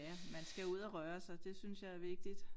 Ja man skal ud og røre sig det synes jeg er vigtigt